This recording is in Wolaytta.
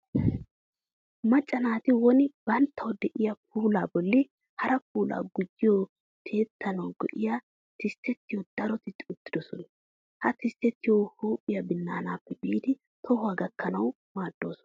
Macca naati woni banttawu de'iya puulaa bolli hara puulaa gujjiya tiyettanawu go''iya tisttoti dooretti uttidosona. Ha tisttoti huuphiya binnaanaappe biidi tohuwa gakkanawu maaddoosona.